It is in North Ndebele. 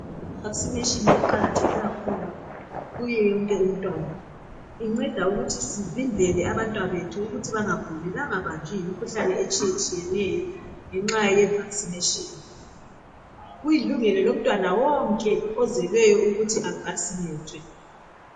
I vakisineshini iqakatheke kakhulu kuye wonke umntwana, inceda ukuthi sivimbele abantwana bethu ukuthi bangaguli bangabanjwi yimkhuhlane etshiyatshiyeneyo ngenxa ye vakisineshini. Kulilungelo lomntwana wonke ozeleyo ukuthi avakisinethwe.